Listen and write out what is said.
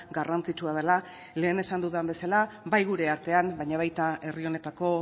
garrantzitsua dela lehen esan dudan bezala bai gure artean baina baita herri honetako